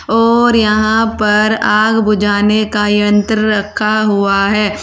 और यहां पर आग बुझाने का यंत्र रखा हुआ है।